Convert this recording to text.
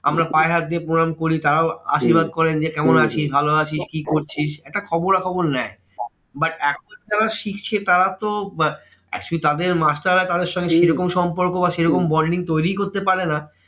আমরা পায়ে হাত দিয়ে প্রণাম করি। তারাও আশীর্বাদ করেন যে, কেমন আছিস? ভালো আছিস? কি করছিস? একটা খবরাখবর নেয়। but এখন যারা শিখছে, তারা তো আহ actually তাদের মাস্টাররা তাদের সঙ্গে যেইরকম বা সেরকম bonding তৈরী করতে পারে না।